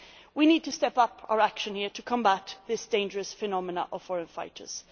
We need to step up our action here to combat this dangerous phenomenon of foreign fighters.